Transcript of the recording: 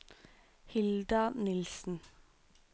Hilda Nilssen